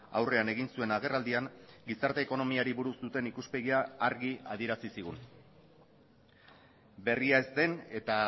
aurrean egin zuen agerraldian gizarte ekonomiari buruz duten ikuspegia argi adierazi zigun berria ez den eta